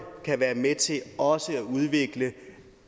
kan være med til også at udvikle